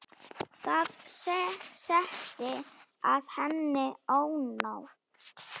Það setti að henni ónot.